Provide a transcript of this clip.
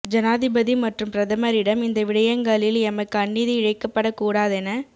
ஜனாதிபதி மற்றும் பிரதமரிடம் இந்த விடயங்களில் எமக்கு அநீதி இழைக்கப்படக் கூடாதென